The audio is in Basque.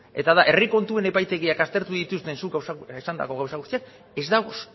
eta da herri kontuen epaitegiak aztertu dituzten zuk esandako gauza guztiak ez dago